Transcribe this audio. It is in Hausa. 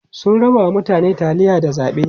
sun rabawa mutane taliya da zaɓe